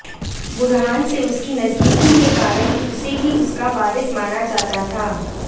बुरहान से उसकी नजदीकी के कारण उसे ही उसका वारिस माना जाता था